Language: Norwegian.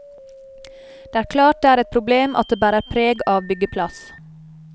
Det er klart det er et problem at det bærer preg av byggeplass.